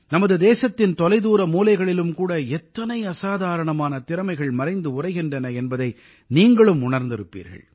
நமது தேசத்தின் தொலைதூர மூலைகளிலும் கூட எத்தனை அசாதாரணமான திறமைகள் மறைந்து உறைகின்றன என்பதை நீங்களும் உணர்ந்திருப்பீர்கள்